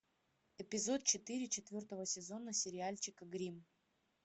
эпизод четыре четвертого сезона сериальчика гримм